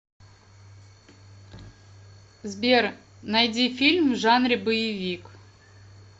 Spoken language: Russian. сбер найди фильм в жанре боевик